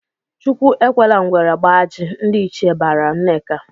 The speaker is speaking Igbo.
"Chukwu ekwela ngwere gbaa ajị!" Ndị ichie barala Nneka.